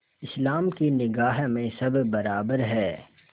इस्लाम की निगाह में सब बराबर हैं